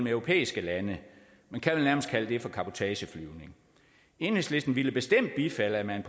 i europæiske lande man kan vel nærmest kalde det for cabotageflyvning enhedslisten ville bestemt bifalde at man